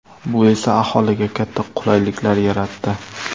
Bu esa aholiga katta qulayliklar yaratdi.